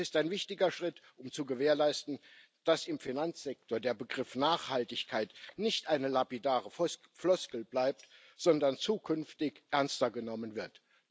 Das ist ein wichtiger Schritt, um zu gewährleisten, dass im Finanzsektor der Begriff Nachhaltigkeit nicht eine lapidare Floskel bleibt, sondern zukünftig ernster genommen wird.